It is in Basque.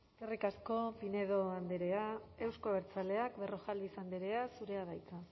eskerrik asko pinedo andrea euzko abertzaleak berrojalbiz andrea zurea da hitza